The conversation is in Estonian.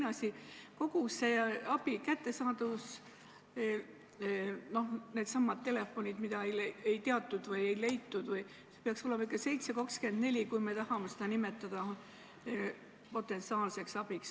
Ja teine asi: kogu selle abi kättesaadavus – needsamad telefoninumbrid, mida ei teatud või ei leitud – peaks olema ikkagi tagatud 7/24, kui me tahame seda nimetada potentsiaalseks abiks.